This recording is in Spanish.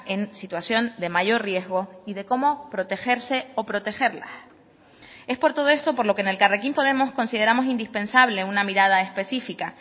en situación de mayor riesgo y de cómo protegerse o protegerlas es por todo esto por lo que en elkarrekin podemos consideramos indispensable una mirada específica